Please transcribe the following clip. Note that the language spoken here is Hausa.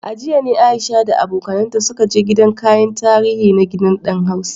A jiya ne Aisha da abokanta suka je gidan kayan tarihi na Gidan Dan Hausa.